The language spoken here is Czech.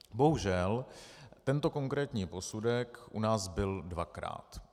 Bohužel tento konkrétní posudek u nás byl dvakrát.